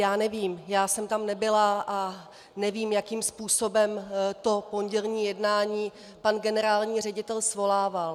Já nevím, já jsem tam nebyla a nevím, jakým způsobem to pondělní jednání pan generální ředitel svolával.